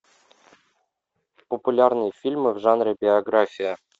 популярные фильмы в жанре биография